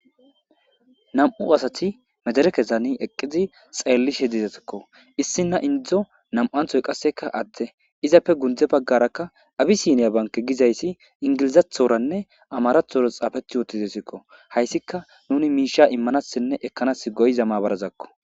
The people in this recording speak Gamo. Nam'u asati medere kesani eqqizi xeellishe dizetekko issi na indzdzo nam'nthoy qasseka atte izappe gundze baggarakka abisiniya banke gizayssi ingilizathoranne amarathora xaafeti yootizesikko hayssika nuni miisha immanassinne ekkanas goyza mabarazakko.